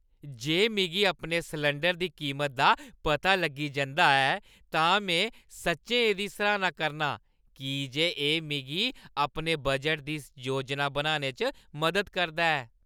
जे मिगी अपने सलैंडरै दी कीमता दा पता लग्गी जंदा ऐ तां में सच्चैं एह्दी सराह्‌ना करनां की जे एह् मिगी अपने बजटै दी योजना बनाने च मदद करदा ऐ।